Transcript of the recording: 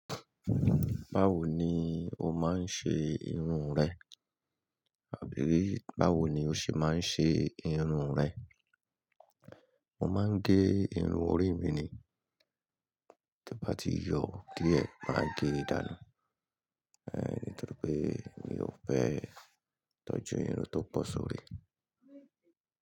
Báwo ni o máa ń ṣe irun rẹ? Àbí báwo ni o ṣe máa ń ṣe irun rẹ? Mo máa ń gẹ irun orí mi ni. Tí mo bá ti yọ díẹ̀, màá gẹ nìdànù. Nítorí pé mi ò fẹ́ tọ́jú irun tó pọ̀ sórí.